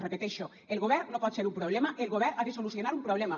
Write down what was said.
repeteixo el govern no pot ser un problema el govern ha de solucionar un problema